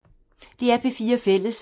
DR P4 Fælles